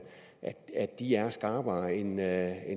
de er skarpere end at